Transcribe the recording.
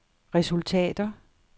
resultater